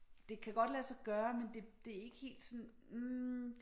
Det kan godt lade sig gøre men det det ikke helt sådan hm